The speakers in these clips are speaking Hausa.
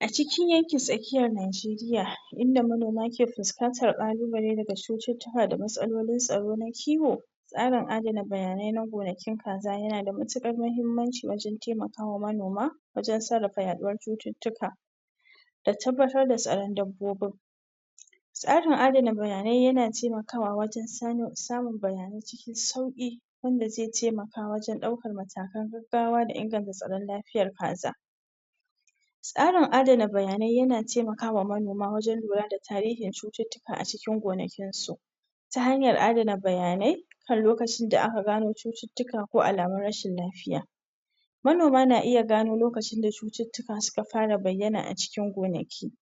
a cikin yankin tsakiyar najeriya inda manoma ke fuskantar kalubale daga cututtuka da matsayin tsaro na kiwo tsarin adana bayanai na gonakin kaza yana da matukar mahimmanci wajan taimakawa manoma wajan sarrafa ya ɗuwar cututtuka da tabbatar da tsaran dabbobin tsarin adana bayanai yana taimakawa wajan samun bayanai cikin sauki wanda zai taimaka wajan ɗaukan matakan gaggawa da inganta tsaran lafiyar kaza tsarin adana bayanai yana taimakawa manoma wajan lura da tarihin cututtuka a cikin gonakinsu ta hanyar adana bayanai kan lukacin da a ka gano cututtuka ko alamun rashin lafiya manoma na iya gano lokacin da cututtuka suka fara bayyana acikin gonaki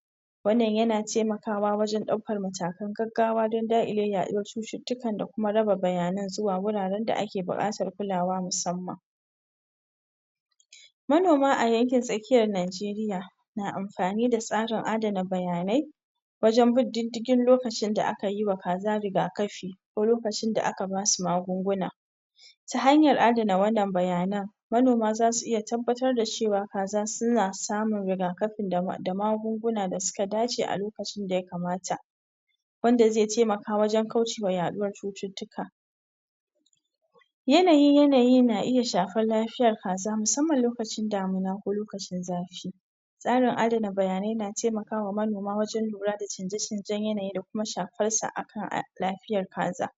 wannan yana taimakawa wajan ɗaukar matakan gaggawa dan daƙile ya ɗuwar cututtukan da kuma raba bayanan zuwa wuraran da ake buƙatar kulawa musamman manoma a yankin tsakiyar najeriya na amfani da tsarin adana bayanai wajan bin diddigin lokacin da akayi wa kaza rigakafi ko lokacin da aka basu magunguna ta hanyar adana wannan bayanan manoma zasu iya tabbatar da cewa kaza suna samun rigakafi da magunguna da suka dace a lokacin da ya kamata wanda zai taimaka wajan kaucewa ya ɗuwar cututtuka yanayi na iya shafar lafiyar kaza musamman lokacin damuna damina ko lokacin zafi tsarin adana bayanai na taimakawa manoma wajan lura da canje canjan yanayi da kuma shafarsa a lafiyar kaza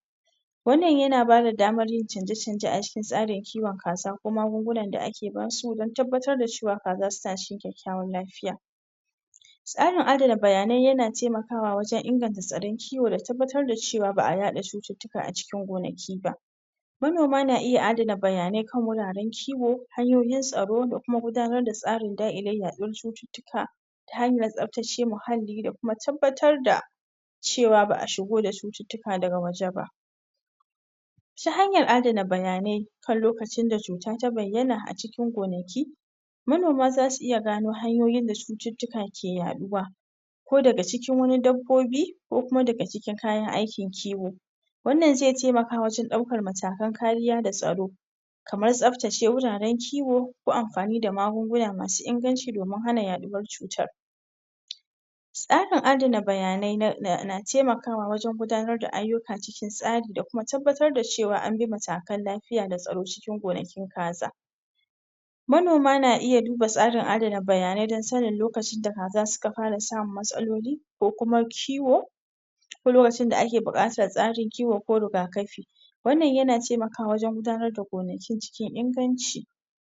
wannan yana bada damar yin canje canje a cikin tsarin kiwan kaza ko magungunan da ake basu dan tabbatar da da cewa kaza suna cikin ƙoshin lafiya tsarin adana bayanai yana taimakawa wajan inganta tsaran kiwo da tabbatar da cewa ba a yaɗa cututtuka a cikin gonaki ba manoma na iya adana bayanayi kan wuraran kiwo hanyoyin tsaro da kuma gudanar da tsarin dakile ya ɗuwar cututtuka ta hanyar tsaftace muhalli da kuma tabbatar da cewa ba a shigo da cututtuka daga waje ba ta hanyar adana bayanayi kan lokacin da cuta ta biyyana a cikin gonaki manoma zasu iya gano hanyoyin da cututtuka ke yaɗowa ko daga cikin wani dabbobi ko kuma daga cikin kayan aikin kiwo wannan zai taimaka wajan ɗaukan matakan kariya da tsaro kamar tsaftace wuraran kiwo ko amfani da magunguna masu inganci domin hana ya ɗuwar cutar tsarin adana bayanayi na taimakawa wajan gudanar da aiyuka cikin tsari da kuma tabbatar da cewa anbi matakan lafiya na tsaro cikin gonakin kaza manoma na iya duba tsarin adana bayanayi dan sanin lokacin da kaza suka fara samun matsaloli ko kuma kiwo ko lokacin da ake buƙatar tsarin kiwo ko riga kafi wannan yana taimakawa wajan gudanar da gonaki cikin inganci